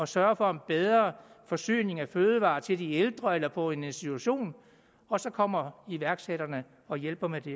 sørge for en bedre forsyning af fødevarer til de ældre eller på en institution og så kommer iværksætterne og hjælper med det